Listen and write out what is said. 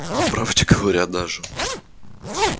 по правде говоря даже